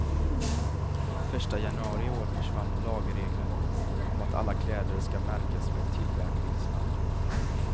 Första januari i år försvann lagregeln om att alla kläder ska märkas med tillverkningsland.